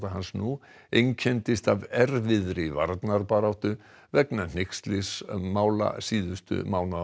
hans nú einkenndist af erfiðri varnarbaráttu vegna hneykslismála síðustu mánaða